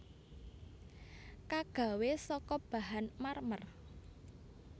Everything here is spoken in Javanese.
Kagawé saka bahan marmer